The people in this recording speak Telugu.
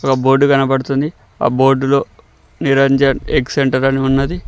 ఇక్కడ ఒక బోర్డు కనబడుతుంది ఆ బోర్డులో నిరంజన్ ఎగ్ సెంటర్ అని ఉన్నది.